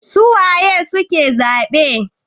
su waye suke zabe?